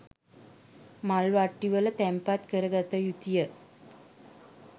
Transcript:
මල් වට්ටිවල තැන්පත් කර ගත යුතුය.